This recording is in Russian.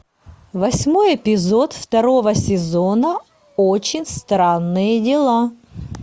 восьмой эпизод второго сезона очень странные дела